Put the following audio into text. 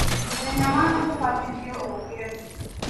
Mũthenya wa gũbatithio ũkĩra tene